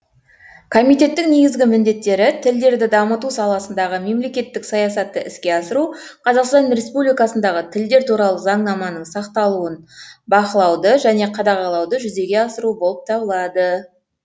комитеттің негізгі міндеттері тілдерді дамыту саласындағы мемлекеттік саясатты іске асыру қазақстан республикасындағы тілдер туралы заңнаманың сақталуын бақылауды және қадағалауды жүзеге асыру болып табылады